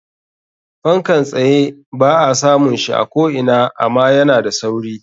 Fankan tsye ba a samun shi a ko ina ama yana da sauri.